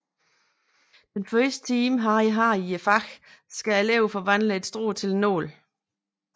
Den første time Harry har i faget skal eleverne forvandle et strå til en nål